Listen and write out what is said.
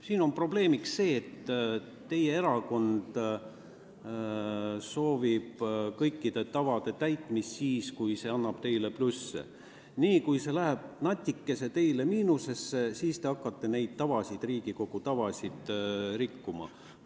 Siin on probleemiks see, et teie erakond soovib kõikide tavade täitmist siis, kui see annab teile plusse, aga niipea, kui see toob teile natuke miinuseid, siis te hakkate Riigikogu tavasid rikkuma.